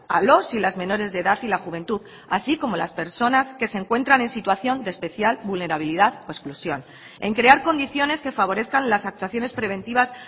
a los y las menores de edad y la juventud así como las personas que se encuentran en situación de especial vulnerabilidad o exclusión en crear condiciones que favorezcan las actuaciones preventivas